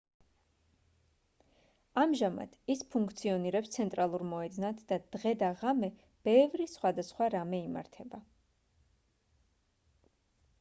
ამჟამად ის ფუნქციონირებს ცენტრალურ მოედნად და დღე და ღამე ბევრი სხვადასხვა რამე იმართება